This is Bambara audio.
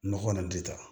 Nɔgɔ kɔni di ta